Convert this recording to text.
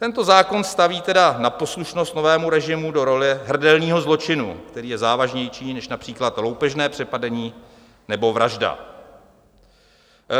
Tento zákon staví tedy na poslušnost novému režimu do role hrdelního zločinu, který je závažnější než například loupežné přepadení nebo vražda.